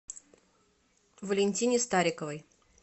валентине стариковой